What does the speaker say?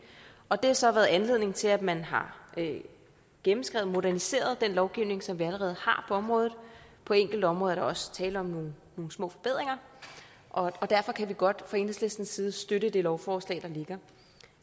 og det har så givet anledning til at man har gennemskrevet og moderniseret den lovgivning som vi allerede har på området på enkelte områder er der også tale om nogle små forbedringer og derfor kan vi godt fra enhedslistens side støtte det lovforslag der ligger